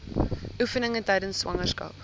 oefeninge tydens swangerskap